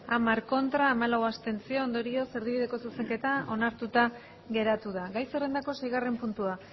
hamar ez hamalau abstentzio ondorioz erdibideko zuzenketa onartuta geratu da gai zerrendako seigarren puntua